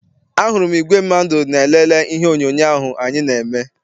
A hụrụ m igwe mmadụ na-elele ihe onyoonyo ahụ anyị na-eme.